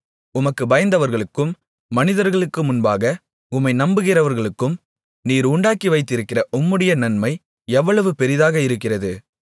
உமக்குப் பயந்தவர்களுக்கும் மனிதர்களுக்கு முன்பாக உம்மை நம்புகிறவர்களுக்கும் நீர் உண்டாக்கி வைத்திருக்கிற உம்முடைய நன்மை எவ்வளவு பெரிதாக இருக்கிறது